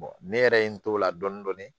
ne yɛrɛ ye n t'o la dɔɔnin dɔɔnin